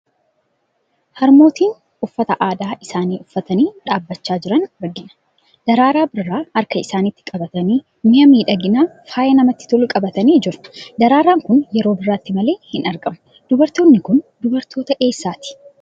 Harmootii uffata aadaa isaanii uffatanii dhaabbachaa jiran argina. Daraaraa birraa harka isaaniitti qabatanii, mi'a miidhaginaa, faaya namatti tolu qabatanii jiru. Daraaraan kun yeroo birraatti malee hin argamu. Dubartoonni kun dubartoota eessaati?